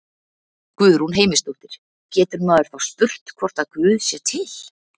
Guðrún Heimisdóttir: Getur maður þá spurt hvort að Guð sé til?